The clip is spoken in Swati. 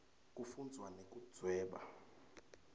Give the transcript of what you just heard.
kufundvwa nekudvweba